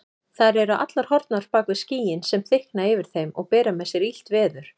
Þær eru allar horfnar bak við skýin sem þykkna yfir þeim og bera með sér illt veður.